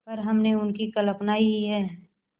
पर हमने उनकी कल्पना ही है